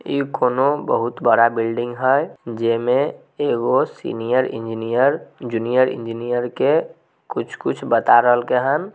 ई कोनो बहुत बड़ा बिल्डिंग है जेई में एगो सीनियर इंजीनियर जूनियर इंजीनियर के कुछ-कुछ बता रहल के हैन।